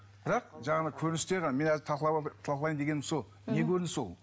бірақ жаңағыдай көріністер мен әлі талқылайын дегенім сол не көрініс ол